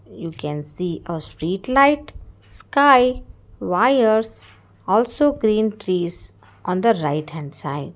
you can see a street light sky wires also green trees on the right hand side.